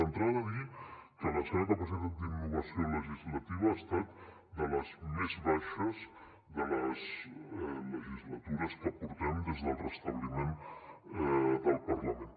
d’entrada dir que la seva capacitat d’innovació legislativa ha estat de les més baixes de les legislatures que portem des del restabliment del parlament